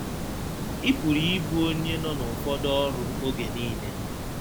Ị pụrụ ịbụ onye nọ n’ụfọdụ ọrụ oge nile.